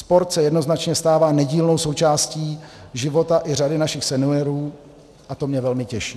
Sport se jednoznačně stává nedílnou součástí života i řady našich seniorů a to mě velmi těší.